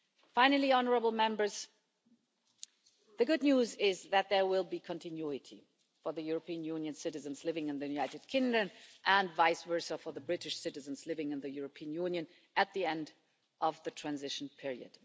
Finally, the good news is that there will be continuity for the European Union citizens living in the United Kingdom and vice versa for the British citizens living in the European Union at the end of the transition period.